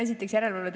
Aitäh!